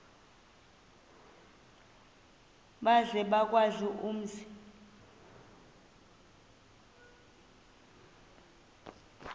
maze bawazi umzi